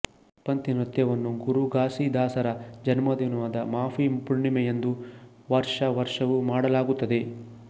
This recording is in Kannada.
ಪಂಥಿ ನೃತ್ಯವನ್ನು ಗುರು ಘಾಸೀದಾಸರ ಜನ್ಮದಿನವಾದ ಮಾಘಿ ಪೂರ್ಣಿಮೆಯಂದು ವಾರ್ಷ ವರ್ಷವೂ ಮಾಡಲಾಗುತ್ತದೆ